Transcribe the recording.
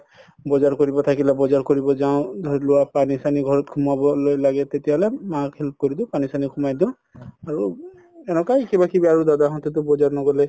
বজাৰ কৰিব থাকিলে বজাৰ কৰিব যাও ধৰি লোৱা পানি চানি ঘৰত সোমাবলৈ লাগে তেতিয়া হলে মাক help কৰি দিও পানি চানি সোমাই দিও আৰু এনেকুৱাই কিবা কিবি আৰু দাদা হতেতো বজাৰ নগলে